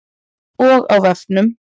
Og á vefnum.